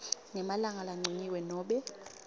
ngemalanga lancunyiwe nobe